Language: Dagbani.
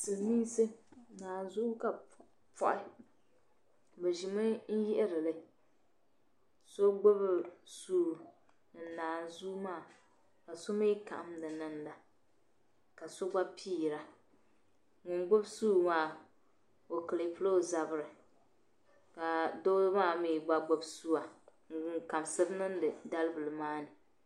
Sili mii nsi, naan zuwa ka bɛ pɔhi, bɛ ʒimi n yihirili, so gbubi suwa ni naan zuw maa ka sɔ gba piira ŋun gbubi suu maa ɔ kirpla ɔ zabiri ka doo maa gba gbubi suwa n labisiri niŋdi. dali bili maa ni